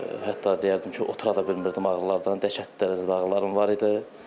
Hətta deyərdim ki, otura da bilmirdim ağrılardan, dəhşətli dərəcədə ağrılarım var idi.